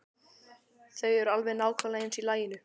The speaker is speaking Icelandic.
Þau eru alveg nákvæmlega eins í laginu.